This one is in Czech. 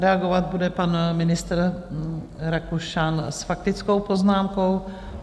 Reagovat bude pan ministr Rakušan s faktickou poznámkou.